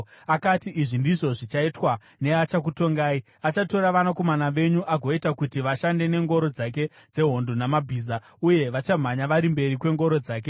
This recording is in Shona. Akati, “Izvi ndizvo zvichaitwa neachakutongai: Achatora vanakomana venyu agoita kuti vashande nengoro dzake dzehondo namabhiza, uye vachamhanya vari mberi kwengoro dzake.